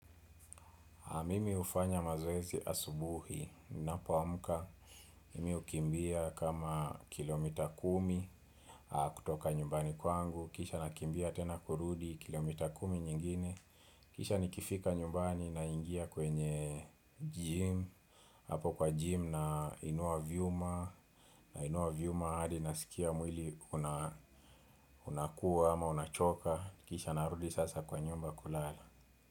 Mimi hufanya mazoezi asubuhi ninapoamka. Mimi hukimbia kama kilomita kumi kutoka nyumbani kwangu. Kisha nakimbia tena kurudi kilomita kumi nyingine. Kisha nikifika nyumbani naingia kwenye gym. Hapo kwa gym nainua vyuma. Na inua vyuma hadi nasikia mwili unakuwa ama unachoka. Kisha narudi sasa kwa nyumba kulala.